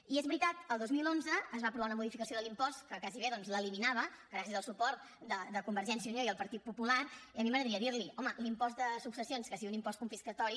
i és veritat el dos mil onze es va aprovar una modificació de l’impost que gairebé l’eliminava gràcies al suport de convergència i unió i el partit popular i a mi m’agradaria dirli home l’impost de successions que sigui un impost confiscatori